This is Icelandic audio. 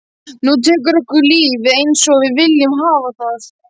Nú tekur okkar líf við einsog við viljum hafa það.